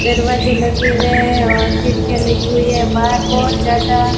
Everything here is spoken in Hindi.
दरवाजे लगे हुए हैं और खिड़कियाँ लगी हुई हैं बाहर बहुत ज्यादा।